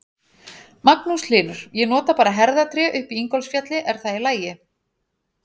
Magnús Hlynur: Ég nota bara herðatré upp í Ingólfsfjalli, er það í lagi?